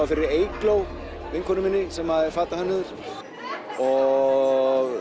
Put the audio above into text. fyrir Eygló vinkonu minni sem er fatahönnuður og